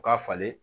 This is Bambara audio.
U ka falen